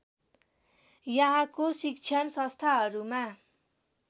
यहाँको शिक्षण संस्थाहरूमा